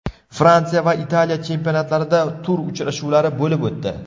Fransiya va Italiya chempionatlarida tur uchrashuvlari bo‘lib o‘tdi.